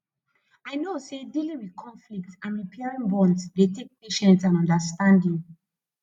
i know say dealing with conflicts and repairing bonds dey take patience and understanding